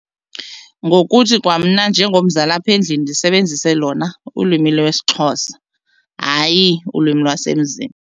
Ngokuthi kwamna njengomzali apha endlini ndisebenzise lona ulwimi lwesiXhosa hayi ulwimi lwasemzini.